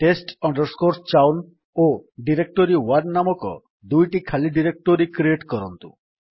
test chown ଓ ଡାଇରେକ୍ଟୋରୀ1 ନାମକ ଦୁଇଟି ଖାଲି ଡାଇରେକ୍ଟୋରୀ କ୍ରିଏଟ୍ କରନ୍ତୁ